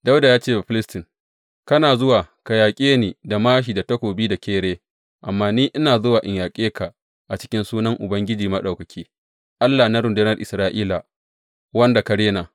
Dawuda ya ce wa Bafilistin, Kana zuwa ka yaƙe ni da māshi da takobi da kere, amma ni ina zuwa in yaƙe ka a cikin sunan Ubangiji Maɗaukaki, Allah na rundunar Isra’ila, wanda ka rena.